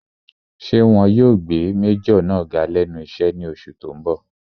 Ṣé wọn yóò gbé májọ̀ náà ga lẹ́nu iṣẹ́ ní oṣù tó n bọ̀?